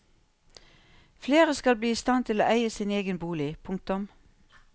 Flere skal bli i stand til å eie sin egen bolig. punktum